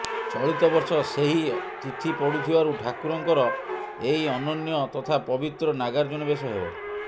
ଚଳିତବର୍ଷ ସେହି ତିଥି ପଡୁଥିବାରୁ ଠାକୁରଙ୍କର ଏହି ଅନନ୍ୟ ତଥା ପବିତ୍ର ନାଗାର୍ଜ୍ଜୁନ ବେଶ ହେବ